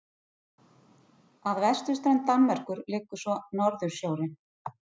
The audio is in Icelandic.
Að vesturströnd Danmerkur liggur svo Norðursjórinn.